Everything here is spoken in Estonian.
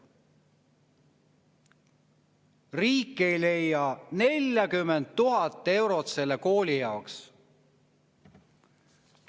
" Riik ei leia 40 000 eurot selle kooli jaoks.